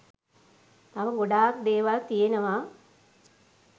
තව ගොඩක් දේවල් තියෙනවා